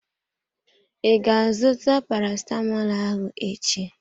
I ga azụta parasitamọl ahụ echi?